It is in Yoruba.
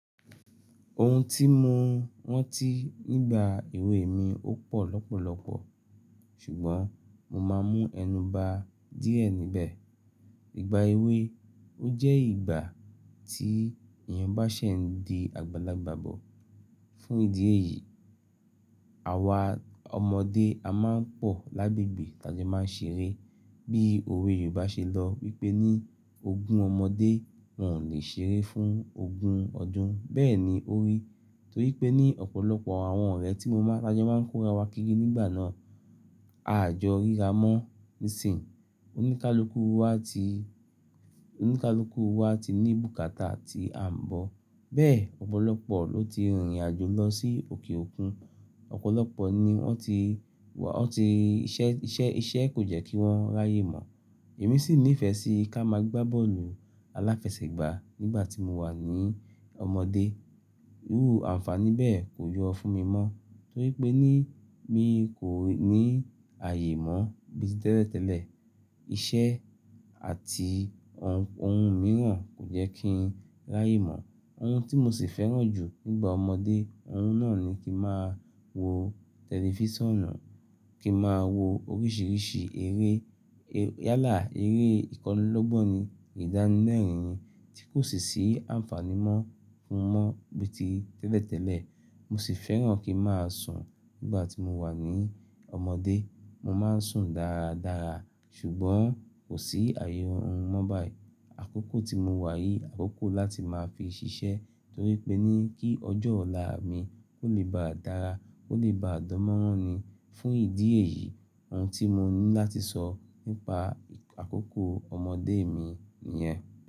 Ohun tí mo rantí nígbà èwe mi ó pọ̀ lọ́pọ̀lọpọ̀ ṣùgbọ́n mo máa mú ẹnu ba díẹ̀ níbẹ̀. Ìgbà èwe ó jẹ́ ìgbà tí èyàn bá ṣẹ̀ ń di àgbàlagbà bọ̀. Fún ìdí èyí àwa ọmọdé a máa ń pọ̀ lágbegbe ta jo máa ń ṣeré. Bí òwe Yorùbá ṣe lọ wípé ni ogún ọmọdé wọn ò lè ṣeré fún ogún ọdún. Bẹ́ẹ̀ ni ó rí torípé ní ọ̀pọ̀lọpọ̀ àwọn ọ̀rẹ́ tí mo ma, ta jo máa ń kórawọ kígí nígbà náà. A jọ rírà mọ́ nísìnyí. Oníkálukú wa ti, oníkálukú wa ti ní bùkátà tí a ń bọ̀. Bẹ́ẹ̀ ọ̀pọ̀lọpọ̀ ló ti rìnrìn àjò lọ sí òkè òkun. Ọ̀pọ̀lọpọ̀ ni wọn ti, wọn ti iṣẹ́, iṣẹ́, iṣẹ́ kò jẹ́ kí wọn ráyè mọ̀. Èmi sì nífẹ̀ẹ́ sí ká máa gbá bọ́ọ̀lù aláfẹsẹ̀gbá nígbà tí mo wà ní ọmọdé. Irú àǹfàní bẹ́ẹ̀ kò yọ fún mi mọ́ torípé ni mi kò ní àyè mọ̀ bí ti tẹ́lẹ̀tẹ́lẹ̀. Iṣẹ́ àti ohun, ohun mìíràn kò jẹ́ kí n láyè mọ̀. Ohun tí mo sì fẹ́ràn jù nígbà ọmọdé, ohun náà ni kí máa wo tẹlifísàn, kí máa wo oríṣìíríṣìí eré. Yálà eré ìkọlù lọ́gbọ́n ni ìdánilẹ́rìn-ín tí kò sì ṣí àǹfàní mọ́ fún mi mọ́ bí ti tẹ́lẹ̀tẹ́lẹ̀. Mo sì fẹ́ràn kí n máa sùn nígbà tí mo wà ní ọmọdé. Mo máa ń sùn dáradára ṣùgbọ́n kò sí àyè orun mọ́ báyìí. Àkókò tí mo wà yìí, àkókò láti máa fi ṣiṣẹ́ torípé ni kí ọjọ́ ọ̀la mi ó le bá dára, kó lè bá dánmọ́rán ni. Fún ìdí èyí ohun tí mo ní láti sọ nípa àkókò ọmọdé mi nìyẹn.